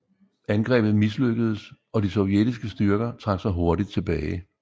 Angrebet mislykkedes og de sovjetiske styrker trak sig hurtigt tilbage